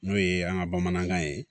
N'o ye an ka bamanankan ye